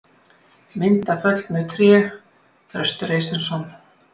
Mynd af föllnu tré: Þröstur Eysteinsson.